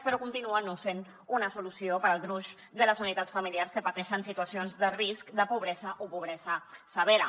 però continua no sent una solució per al gruix de les unitats familiars que pateixen situacions de risc de pobresa o pobresa severa